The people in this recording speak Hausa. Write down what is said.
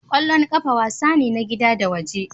Kwallon kafa wasa ne na gida da waje.